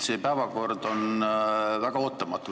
See päevakord on väga ootamatu.